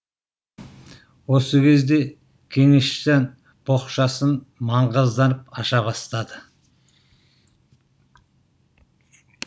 осы кезде кеңесжан боқшасын маңғазданып аша бастады